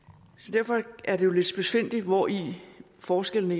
derfor er det lidt spidsfindigt hvori forskellene